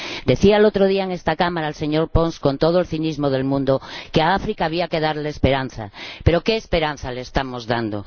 Decía el otro día en esta Cámara el señor Pons, con todo el cinismo del mundo, que a África había que darle esperanza, pero ¿qué esperanza le estamos dando?